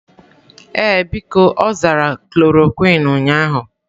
Ee, biko, ọ zara klorokwin ụnyahụ.